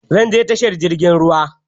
Zan je tashar jirgin ruwa.